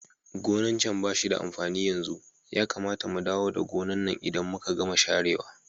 Gonan can bashi da amfani yanzu, Yakamata mu dawo da gonan nan idan muka gama share wa.